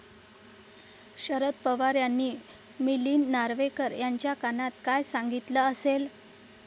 शरद पवार यांनी मिलिंद नार्वेकर यांच्या कानात काय सांगितलं असेल?